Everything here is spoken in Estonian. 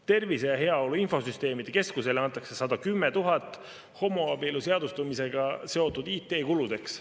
Tervise ja Heaolu Infosüsteemide Keskusele antakse 110 000 homoabielu seadustamisega seotud IT-kuludeks.